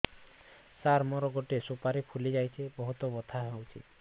ସାର ମୋର ଗୋଟେ ସୁପାରୀ ଫୁଲିଯାଇଛି ବହୁତ ବଥା ହଉଛି